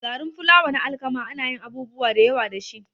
Garin fulawa na alkama anayin abubuwa dayawa dashi